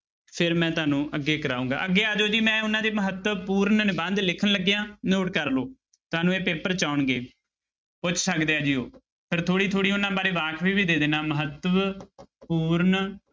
ਫਿਰ ਮੈਂ ਤੁਹਾਨੂੰ ਅੱਗੇ ਕਰਾਵਾਂਗਾ ਅੱਗੇ ਆ ਜਾਓ ਜੀ ਮੈਂ ਉਹਨਾਂ ਦੇ ਮਹੱਤਵਪੂਰਨ ਨਿਬੰਧ ਲਿਖਣ ਲੱਗਿਆ note ਕਰ ਲਓ ਤੁਹਾਨੂੰ ਇਹ ਪੇਪਰ 'ਚ ਆਉਣਗੇ, ਪੁੱਛ ਸਕਦੇ ਆ ਜੀ ਉਹ ਫਿਰ ਥੋੜ੍ਹੀ ਥੋੜ੍ਹੀ ਉਹਨਾਂ ਬਾਰੇ ਵਾਕਫ਼ੀ ਵੀ ਦੇ ਦਿਨਾ ਮਹੱਤਵ ਪੂਰਨ